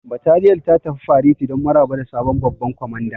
Bataliyar ta tafi fareti don maraba da sabon babban kwamandan.